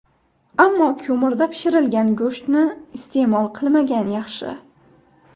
Ammo ko‘mirda pishirilgan go‘shtni iste’mol qilmagan yaxshi.